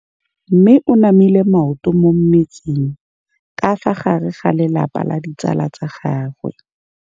Mme o namile maoto mo mmetseng ka fa gare ga lelapa le ditsala tsa gagwe.